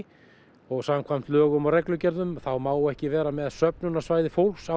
og samkvæmt lögum og reglugerðum þá má ekki vera með söfnunarsvæði fólks á